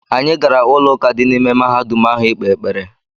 Anyị gara ụlọụka dị n’ime mahadum ahụ ikpe ekpere.